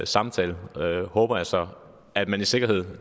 samtale og jeg håber så at man i sikkerhed